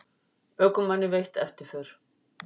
Ökumanni veitt eftirför